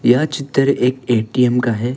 यह चित्र एक ए_टी_एम का है।